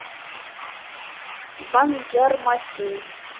банджармасин